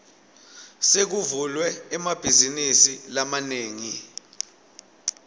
sekuvulwe emabhazinisi lamanengi